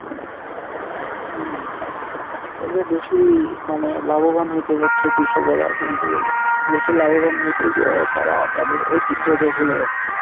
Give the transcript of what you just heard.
হম ওইযে বেশি মানে লাভবান হইতে যাচ্ছে কৃষকেরা কিন্তু বেশি লাভবান হইতে গিয়ে তারা তাদের ঐতিহ্য কে ভুলে যাচ্ছে।